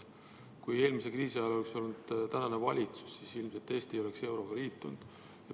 Kui eelmise kriisi ajal oleks olnud tänane valitsus, siis ilmselt ei oleks Eesti euroga liitunud.